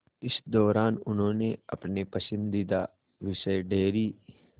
इस दौरान उन्होंने अपने पसंदीदा विषय डेयरी